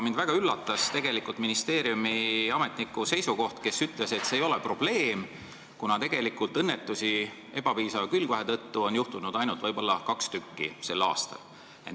Mind väga üllatas tegelikult ministeeriumi ametniku seisukoht, kes ütles, et see ei ole probleem, kuna ebapiisava külgvahe tõttu on sel aastal ainult kaks õnnetust juhtunud.